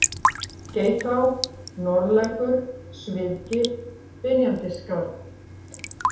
Geitá, Norðlækur, Sviðgil, Dynjandisskarð